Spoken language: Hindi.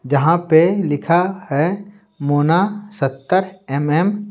जहां पे लिखा है मोना सत्तर एम_एम --